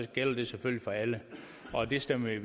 gælder det selvfølgelig for alle og det stemmer vi